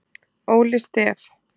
Óli Stef